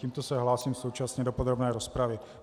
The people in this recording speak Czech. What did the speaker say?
Tímto se hlásím současně do podrobné rozpravy.